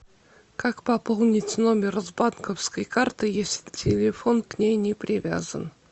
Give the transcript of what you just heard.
как пополнить номер с банковской карты если телефон к ней не привязан